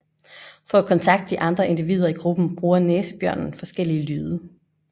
For at kontakte de andre individer i gruppen bruger næsebjørnen forskellige lyde